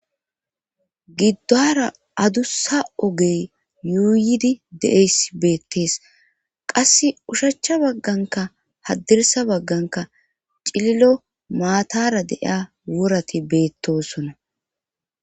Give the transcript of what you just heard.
giddora adussa ogey yuuydi de'eys beettees qasse ushachcha bagganka haddirisa bagganka cililo maatara de'iya worati betosona